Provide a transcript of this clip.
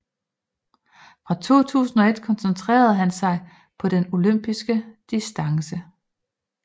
Fra 2001 koncentrere han sig på den Olympisk Distance